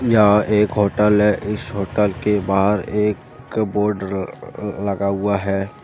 यह एक होटल है। इस होटल के बाहर एक क बोर्ड अह अह लगा हुआ है।